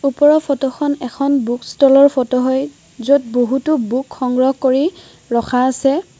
ওপৰৰ ফটোখন এখন বুক ষ্টলৰ ফটো হয় য'ত বহুতো বুক সংগ্ৰহ কৰি ৰখা আছে।